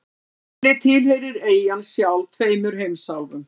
Þannig tilheyrir eyjan sjálf tveimur heimsálfum.